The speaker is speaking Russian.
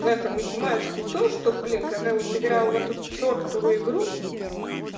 в этом математике то что блин когда вот играл в эту чёртову игру